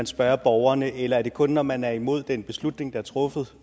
spørge borgerne eller er det kun når man er imod den beslutning der er truffet